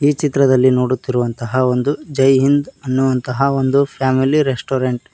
ಈ ಚಿತ್ರದಲ್ಲಿ ನೋಡುತ್ತಿರುವಂತಹ ಒಂದು ಜೈ ಹಿಂದ್ ಅನ್ನುವಂತಹ ಒಂದು ಫ್ಯಾಮಿಲಿ ರೆಸ್ಟೋರೆಂಟ್ .